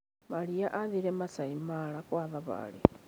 Maria aathire Maasai Mara kwa thabarĩ.